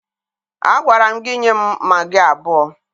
Agwara m gị nye m magị abụọ!